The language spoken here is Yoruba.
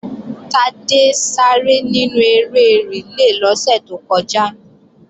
Tádé sáré nínú eré rìlé lọ́sẹ̀ tó kọjá